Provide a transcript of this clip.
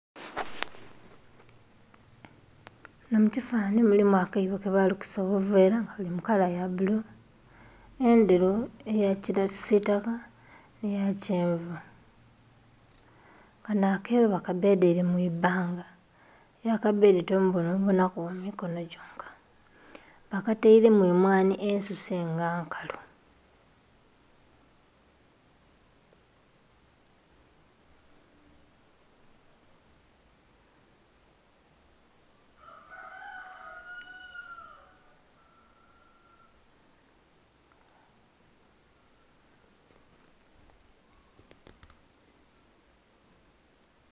Munho mu kifananhi mulimu akaibo ke balukisa obuveera nga buli mu kala ya bbulu, endheru eya kisitaka nhe ya kyenvu, kanho akaibo ba kabedhaire mwi bbanga aye akabbedhye tomubonha obonhaku mikonho gyonka bakatairemu emwanhi ensuse nga nkalu.